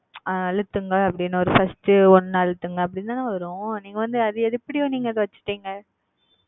அழுத்துங்க first ஒன்னு அலுத்துங்கனு தான வரும் அது வந்து நீங்க எப்டி அழுதுனீங்க